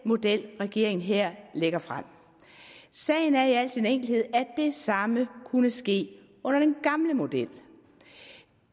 model regeringen her lægger frem sagen er i al sin enkelhed at det samme kunne ske under den gamle model